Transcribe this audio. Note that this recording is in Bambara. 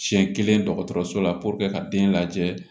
Siɲɛ kelen dɔgɔtɔrɔso la ka den lajɛ